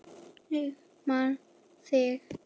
Ég man þig.